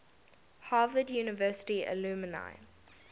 harvard university alumni